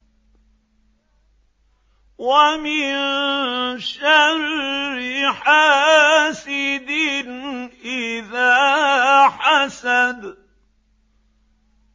وَمِن شَرِّ حَاسِدٍ إِذَا حَسَدَ